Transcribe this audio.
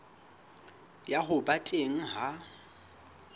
ya ho ba teng ha